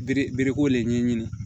Bere bereko de ɲɛɲini